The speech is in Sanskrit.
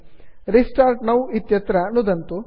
रेस्टार्ट् नौ इत्यत्र नुदन्तु